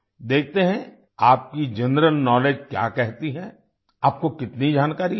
देखते हैं आपकी जनरल नॉलेज जनरल नाउलेज क्या कहती है आपको कितनी जानकारी है